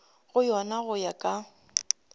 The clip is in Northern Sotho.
go yona go ya ka